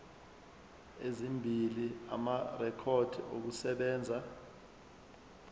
ezimbili amarekhodi okusebenza